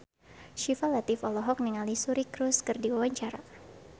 Syifa Latief olohok ningali Suri Cruise keur diwawancara